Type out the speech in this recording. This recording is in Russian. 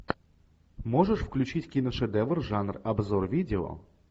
можешь включить киношедевр жанр обзор видео